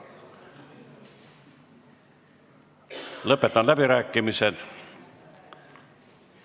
Lõpetan läbirääkimised.